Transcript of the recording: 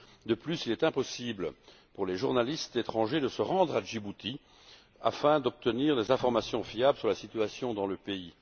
De plus, il est impossible pour les journalistes étrangers de se rendre à Djibouti afin d'obtenir des informations fiables sur la situation dans le pays.